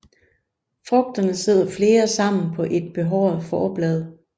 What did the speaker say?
Frugterne sidder flere sammen på et behåret forblad